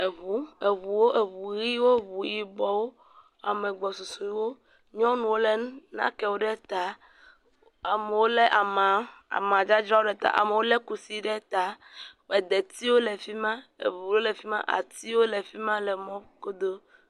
Eʋuwo, eʋuɣiwo, eʋuyiʋɔwo, ame gbɔsusuwo, nyɔnuwo le nàkpe ɖe ta. Amewo le ama, amadzadzra ɖe ta. Amewo le kusi ɖe ta. Edetiwo le fima, eʋuwo le fima, atiwo le fima le mɔ godoo.